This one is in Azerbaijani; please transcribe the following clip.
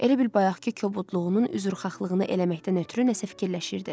Elə bil bayaqkı kobudluğunun üzrxahlığını eləməkdən ötrü nəsə fikirləşirdi.